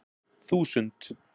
þúsund